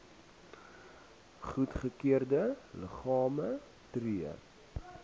goedgekeurde liggame tree